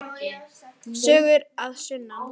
Sögur að sunnan.